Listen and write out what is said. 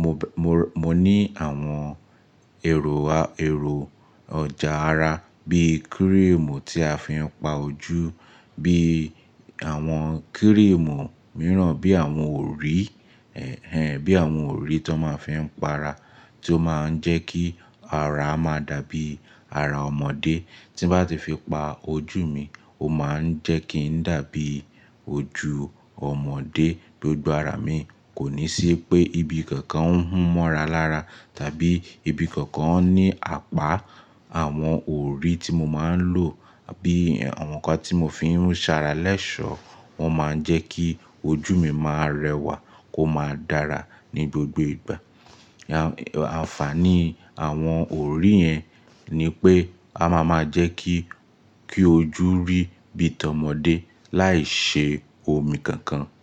Mo bẹ, mo rà, mo ní àwọn èrò a, èrò ọjà ara bí kírìmù tí a fi ń pa ojú, bí àwọn kírìmù mìíràn, bí àwọn òrí, hẹ́n hen bí àwọn òrí ti won máa ń fi ń pa ara tí ó máa ń jẹ́ kí ara máa dàbí ara ọmọdé. Tí bá ti fi pa ojú mi, ó máa ń jẹ́ kí ń dàbí ojú ọmọdé. Gbogbo ara mi kò ní sí pé ibi kankan ń hun mora lára tàbí ibi kankan ní apá. Àwọn òrí tí mo máa ń lò bí àwọn nǹkan tí mo fi ń ṣara lẹ́ṣọ̀ wọ́n máa ń jẹ́ kí ojú mi máa rẹwà, kó máa dára ní gbogbo ìgbà. Àǹfààní àwọn òrí yẹn ni pé a máa máa jẹ́ kí, kí ojú rí bíi tá ọmọdé láì ṣe omi kankan.